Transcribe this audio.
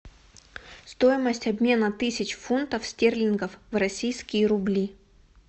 стоимость обмена тысяч фунтов стерлингов в российские рубли